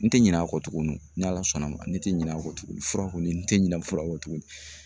N tɛ ɲinɛ a kɔ tugunni n ala sɔnna a ma, ne tɛ ɲinɛ a kɔ tugunni fura kɔni n tɛ ɲinɛ fura kɔ tugunni.